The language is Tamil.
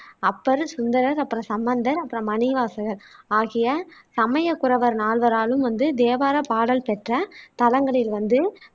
அப்பர், சுந்தரர், அப்பறம் சம்பந்தர், அப்பறம் மாணிக்கவாசகர் ஆகிய சமயக் குரவர் நால்வராலும் வந்து தேவாரப் பாடல் பெற்ற தலங்களில் வந்து